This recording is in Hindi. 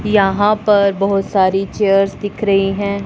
यहां पर बहुत सारी चेयर्स दिख रही हैं।